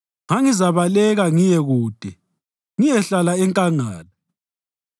Ngangizabaleka ngiye kude ngiyehlala enkangala;